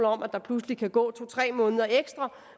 om at der pludselig kan gå to tre måneder ekstra